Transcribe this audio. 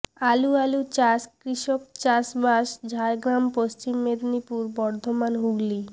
আলু আলু চাষ কৃষক চাষবাস ঝাড়গ্রাম পশ্চিম মেদিনীপুর বর্ধমান হুগলি